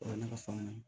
O ne ka faamu na